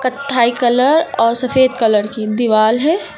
कत्थई कलर और सफेद कलर की दीवाल है।